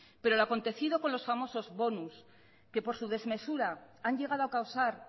pero la acontecido con los famosos bonus que por su desmesura han llegado a causar